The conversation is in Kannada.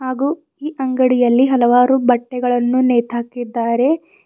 ಹಾಗೂ ಈ ಅಂಗಡಿಯಲ್ಲಿ ಹಲವಾರು ಬಟ್ಟೆಗಳನ್ನು ನೇತಾಹಾಕಿದ್ದಾರೆ.